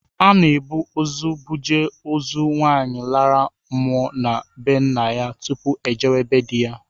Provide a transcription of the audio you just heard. Ana ebu ụzọ buje ozu nwaanyị lara mmụọ na be ńnà yá tụpụ ojewe be di ya.